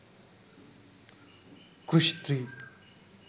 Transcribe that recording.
krrish 3